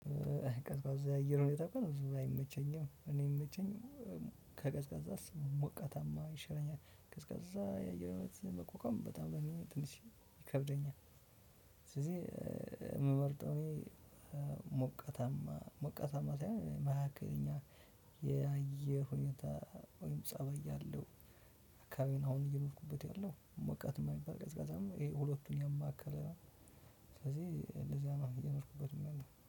ቀዝቃዛ የአየር ሁኔታ ከሆነ ብዙም አይመቸኝም እኔ የሚመቸኝ ከቀዝቃዛ ሞቃታማ ይሻለኛል። ቀዝቃዛ የአየር ሁኔታ መቋቋም በጣም ነው ትንሽ ይከብደኛል። ስለዚህ የምመርጠው እኔ ሞቅ ሞቃታማ ሳይሆን መካከለኛ የአየር ሁኔታ ወይም ፀባይ ያለው አካባቢውን አሁን እየኖርኩበት ያለው ሞቃትም የማይባል ቀዝቃዛም ሁለቱን ያማከለ ስለዚህ እንደዚያ እየኖርኩበት የምመኘው